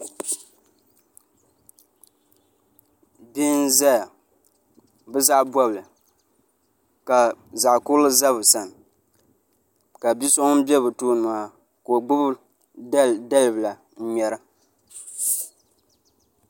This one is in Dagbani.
Bihi n ʒɛya bi zaɣ bobli ka zaɣ kurili ʒɛ bi sani ka bia so ŋun bɛ bi tooni maa ka o gbubi dalibila n ŋmɛra